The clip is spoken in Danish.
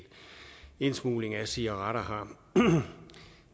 indsmugling af cigaretter